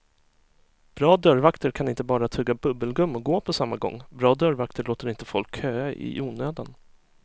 Bra dörrvakter kan inte bara tugga bubbelgum och gå på samma gång, bra dörrvakter låter inte folk köa i onödan.